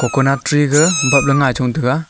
coconut tree ga bap le ngai chong taiga.